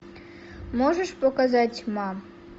можешь показать мам